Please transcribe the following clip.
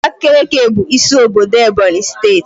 Abakiliki bụ isi obodo Ebonyi steeti